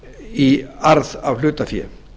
í arð af hlutafé